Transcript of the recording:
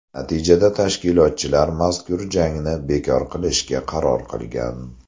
Natijada tashkilotchilar mazkur jangni bekor qilishga qaror qilgan.